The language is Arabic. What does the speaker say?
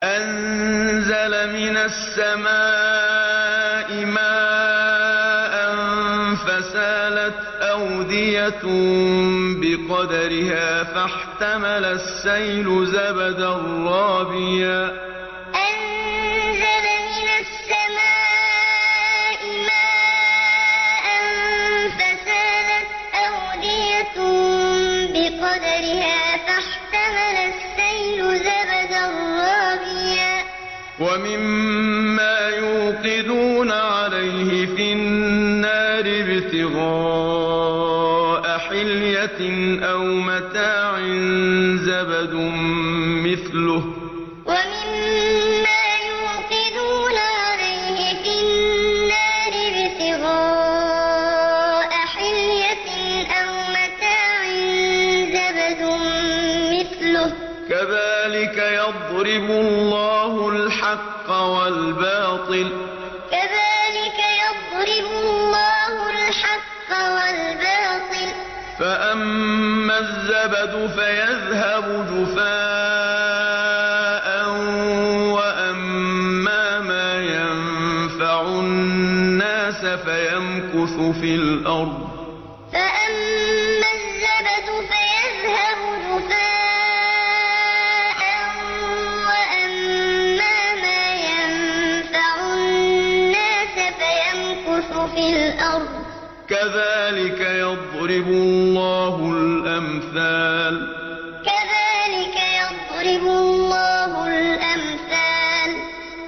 أَنزَلَ مِنَ السَّمَاءِ مَاءً فَسَالَتْ أَوْدِيَةٌ بِقَدَرِهَا فَاحْتَمَلَ السَّيْلُ زَبَدًا رَّابِيًا ۚ وَمِمَّا يُوقِدُونَ عَلَيْهِ فِي النَّارِ ابْتِغَاءَ حِلْيَةٍ أَوْ مَتَاعٍ زَبَدٌ مِّثْلُهُ ۚ كَذَٰلِكَ يَضْرِبُ اللَّهُ الْحَقَّ وَالْبَاطِلَ ۚ فَأَمَّا الزَّبَدُ فَيَذْهَبُ جُفَاءً ۖ وَأَمَّا مَا يَنفَعُ النَّاسَ فَيَمْكُثُ فِي الْأَرْضِ ۚ كَذَٰلِكَ يَضْرِبُ اللَّهُ الْأَمْثَالَ أَنزَلَ مِنَ السَّمَاءِ مَاءً فَسَالَتْ أَوْدِيَةٌ بِقَدَرِهَا فَاحْتَمَلَ السَّيْلُ زَبَدًا رَّابِيًا ۚ وَمِمَّا يُوقِدُونَ عَلَيْهِ فِي النَّارِ ابْتِغَاءَ حِلْيَةٍ أَوْ مَتَاعٍ زَبَدٌ مِّثْلُهُ ۚ كَذَٰلِكَ يَضْرِبُ اللَّهُ الْحَقَّ وَالْبَاطِلَ ۚ فَأَمَّا الزَّبَدُ فَيَذْهَبُ جُفَاءً ۖ وَأَمَّا مَا يَنفَعُ النَّاسَ فَيَمْكُثُ فِي الْأَرْضِ ۚ كَذَٰلِكَ يَضْرِبُ اللَّهُ الْأَمْثَالَ